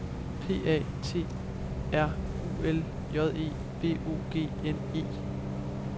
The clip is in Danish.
P A T R U L J E V O G N E